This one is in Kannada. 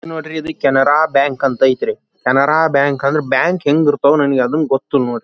ನೋಡ್ರಿ ಇದು ಕೆನರಾ ಬ್ಯಾಂಕ್ ಅಂತ ಐತ್ರಿ ಕೆನರಾ ಬ್ಯಾಂಕ್ ಅಂದ್ರೆ ಬ್ಯಾಂಕ್ ಹೆಂಗ ಇರತವ್ ಅದನ್ನು ಗೊತ್ತಿಲ್ಲಾ ನೋಡ್ರಿ ಪಾ.